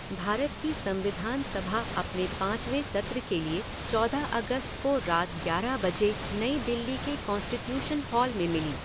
भारत की संविधान सभा अपने पाँचवें सत्र के लिए चौदह अगस्त को रात ग्यारह बजे नई दिल्ली के कॉन्स्टिट्यूशन हॉल में मिली।